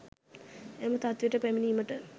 එම තත්ත්වයට පැමිණීමට